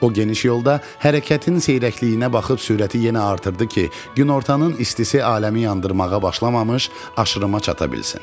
O geniş yolda hərəkətin seyrəkliyinə baxıb sürəti yenə artırdı ki, günortanın istisi aləmi yandırmağa başlamamış aşırıma çata bilsin.